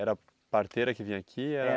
Era a parteira que vinha aqui? Era